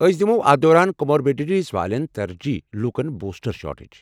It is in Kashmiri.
أسۍ دِمَو اتھ دوران کموربیڈیٹیز والٮ۪ن ترجیحی لوٗکن بوسٹر شاٹس۔